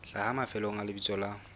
hlaha mafelong a lebitso la